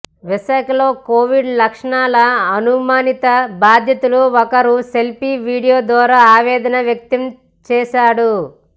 విశాఖలో కోవిడ్ లక్షణాల అనుమానిత భాధితుడు ఒకరు సెల్ఫీ వీడియో ద్వారా ఆవేదన వ్యక్తం చేశాడు